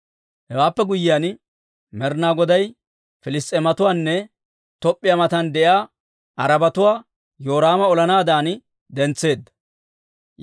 Hewaappe guyyiyaan, Med'inaa Goday Piliss's'eematuwaanne Top'p'iyaa matan de'iyaa Arabatuwaa Yoraama olanaadan dentsetseedda.